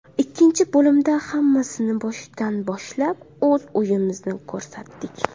Ikkinchi bo‘limda hammasini boshidan boshlab, o‘z o‘yinimizni ko‘rsatdik.